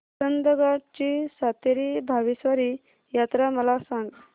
चंदगड ची सातेरी भावेश्वरी यात्रा मला सांग